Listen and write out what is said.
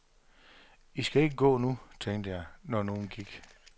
I skal ikke gå nu, tænkte jeg, når nogen gik.